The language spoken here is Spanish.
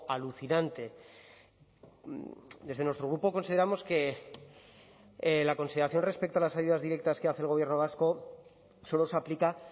alucinante desde nuestro grupo consideramos que la consideración respecto a las ayudas directas que hace el gobierno vasco solo se aplica